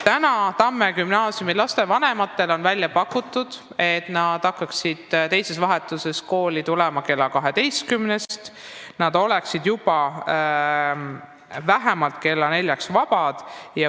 Tamme gümnaasiumi laste vanematele on pakutud, et teises vahetuses õppivad lapsed hakkaksid kooli tulema kella kaheteistkümneks ja oleksid juba vähemalt kella neljaks vabad.